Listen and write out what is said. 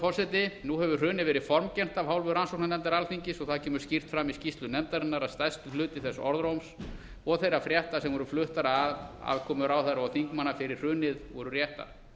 forseti nú hefur hrunið verið formgert af hálfu rannsóknarnefndar alþingis og það kemur skýrt fram í skýrslu nefndarinnar að stærstur hluti þess orðróms og þeirra frétta sem voru fluttar af aðkomu ráðherra og þingmanna fyrir hrunið voru réttar